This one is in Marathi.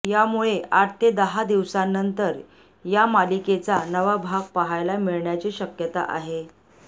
यामुळे आठ ते दहा दिवसानंतर या मालिकेचा नवा भाग पहायला मिळण्याची शक्यता आहे